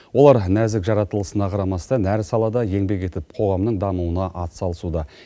олар нәзік жаратылысына қарамастан әр салада еңбек етіп қоғамның дамуына атсалысуда